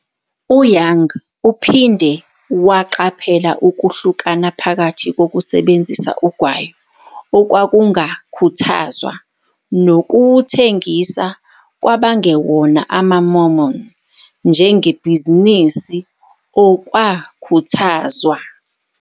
U-Young uphinde waqaphela ukuhlukana phakathi kokusebenzisa ugwayi, okwakungakhuthazwa, nokuwuthengisa kwabangewona amaMormon njengebhizinisi, okwakhuthazwa.